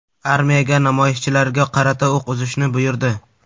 Armiyaga namoyishchilarga qarata o‘q uzishni buyurdi.